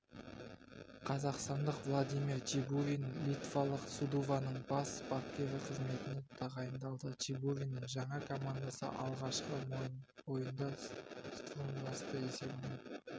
қазақстандық владимир чебурин литвалық судуваның бас бапкері қызметіне тағайындалды чебуриннің жаңа командасы алғашқы ойында стумбрасты есебімен